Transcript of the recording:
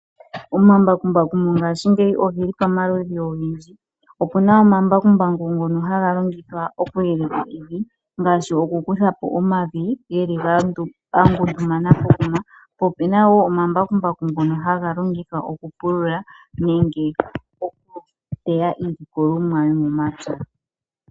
Omambakumbaku mongaashingeyi ogeli pomaludhi ogendji opuna omambakumbaku ngono haga longithwa oku yeleka evi ngaashi oku kuthapo omavi geli ga ngundu mana pokuma . Po opuna wo omambakumbaku ngono haga longithwa oku pulula nenge oku teya iikunomwa yo momapya.